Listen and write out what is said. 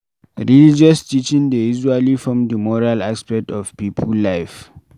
Religious teaching dey usually form di moral aspect of pipo life